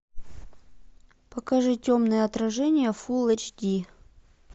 покажи темное отражение фул эйч ди